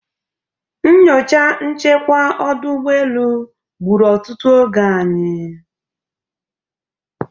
Nyocha nchekwa ọdụ ụgbọelu gburu otutu oge anyị.